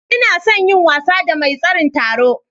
Ina son yin wasa da mai tseren taron.